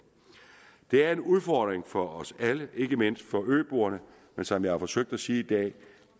det er en udfordring for os alle ikke mindst for øboerne men som jeg har forsøgt at sige i dag